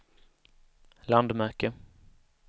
landmärke